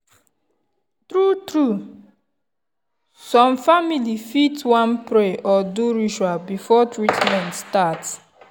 true-true some family fit wan pray or do ritual before treatment start.